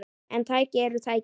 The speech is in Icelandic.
En tæki eru tæki.